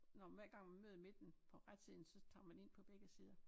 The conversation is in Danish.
Når man hver gang man møder midten på retsiden så tager man ind på begge sider